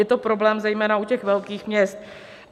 Je to problém zejména u těch velkých měst.